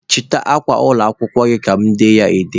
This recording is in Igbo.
Chịta akwa akwụkwọ gị ka mụ dee ya ede!